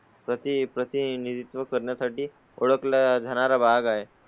प्रती प्रतिनिधित्व करण्यासाठी ओळख ला जाणारा भाग आहे.